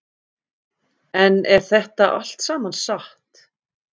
En er þetta allt saman satt?